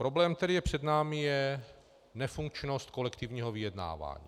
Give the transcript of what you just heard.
Problém, který je před námi, je nefunkčnost kolektivního vyjednávání.